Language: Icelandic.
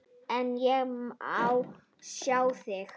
En ég mun sjá þig.